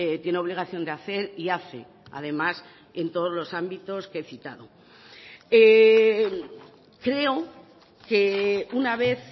tiene obligación de hacer y hace además en todos los ámbitos que he citado creo que una vez